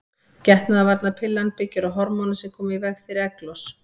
Getnaðarvarnarpillan byggir á hormónum sem koma í veg fyrir egglos.